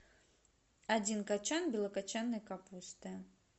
один кочан белокочанной капусты